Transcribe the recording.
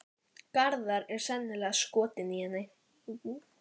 Úr turninum er gengt út á þak byggingarinnar.